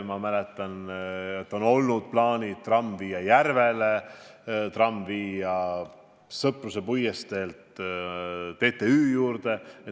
Ma mäletan, et on olnud plaanid ehitada trammitee Järveni ja Sõpruse puiesteel TTÜ juurde.